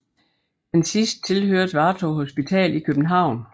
Den sidste tilhørte Vartov hospital i København